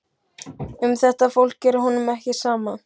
Um þetta fólk er honum ekki sama.